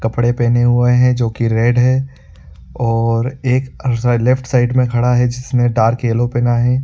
कपड़े पहने हुए है जो कि रेड है और एक लेफ्ट साइड में खड़ा है जिसने डार्क येलो पेहना है।